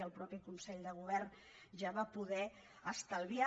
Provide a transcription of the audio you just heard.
i el mateix consell de govern ja va poder estalviar